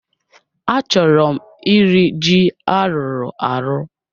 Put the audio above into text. Achọrọ m iri ji a rụrụ arụ